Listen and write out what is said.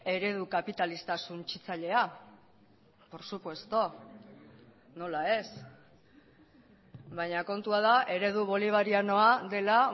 eredu kapitalista suntsitzailea por supuesto nola ez baina kontua da eredu bolivarianoa dela